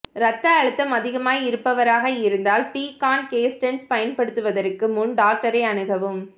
இரத்த அழுத்தம் அதிகமாயிருப்பவராக இருந்தால் டிகான்கேஸ்டண்ட்ஸ் பயன்படுத்துவதற்கு முன் டாக்டரை அணுகவும்